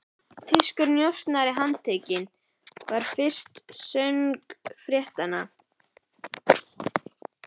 Þýskur njósnari handtekinn, var fyrirsögn fréttarinnar.